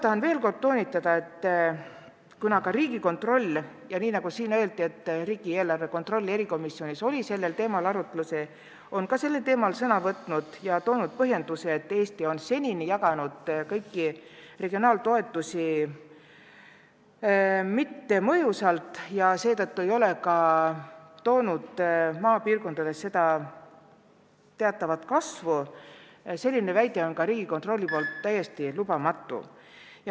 Tahan veel kord toonitada, et ka Riigikontroll ja samuti riigieelarve kontrolli erikomisjon on sellel teemal sõna võtnud ja olnud seisukohal, et Eesti on seni jaganud regionaaltoetusi mittemõjusalt ja nii ei ole see taganud maapiirkondade majanduse kasvu.